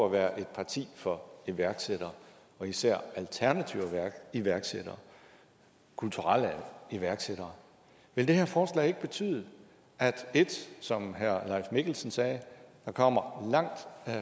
at være et parti for iværksættere og især alternative iværksættere kulturelle iværksættere vil det her forslag ikke betyde at 1 som herre leif mikkelsen sagde der kommer langt